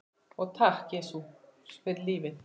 Og takk, Jesús, fyrir lífið.